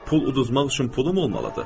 Pul uduzmaq üçün pulum olmalıdır?